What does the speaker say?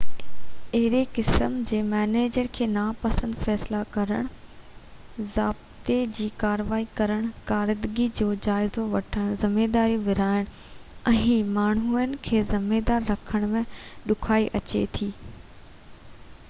اهڙي قسم جي مئنيجر کي ناپسند فيصلا ڪرڻ ضابطي جي ڪاروائي ڪرڻ ڪارڪردگي جو جائزو وٺڻ ذميواريون ورهائڻ ۽ ماڻهن کي ذميوار رکڻ ۾ ڏکيائي اچي ٿي